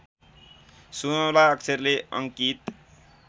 सुनौला अक्षरले अङ्कित